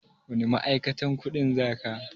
Wani ma'aikatan kuɗin za ka?